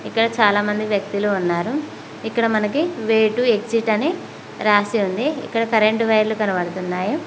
ఇక్కడ చాలా మంది వ్యక్తులు ఉన్నారు ఇక్కడ మనకి వే టూ ఎగ్జిట్ అని రాసి ఉంది ఇక్కడ కరెంటు వైర్లు కనబడుతున్నాయి.